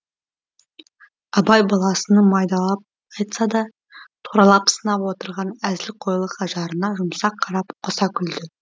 абай баласының майдалап айтса да туралап сынап отырған әзілқойлық ажарына жұмсақ қарап қоса күлді